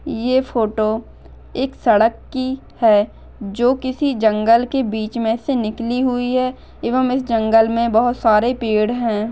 ये फोटो एक सड़क कि है जो किसी जंगल के बीच मे से निकली हुई है एवम इस जंगल मे बहु सारे पेड़ है।